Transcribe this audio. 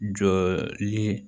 Jɔli